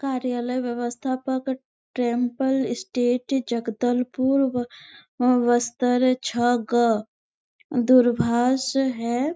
कार्यालय व्यवस्थापक temple state Jagdalpur ब बस्तर छ. ग. दूरभाष है।